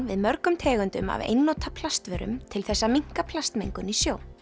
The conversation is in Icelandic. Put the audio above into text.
við mörgum tegundum af einnota plastvörum til þess að minnka plastmengun í sjó